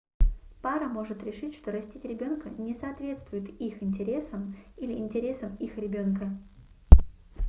пара может решить что растить ребенка не соответствует их интересам или интересам их ребенка